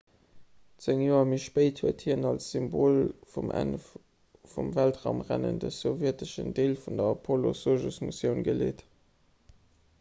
zéng joer méi spéit huet hien als symbol vum enn vum weltraumrennen de sowjeteschen deel vun der apollo-sojus-missioun geleet